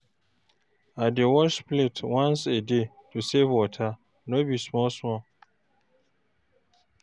I dey wash plate once a day to save water, no be small small.